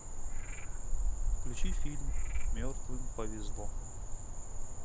включи фильм мертвым повезло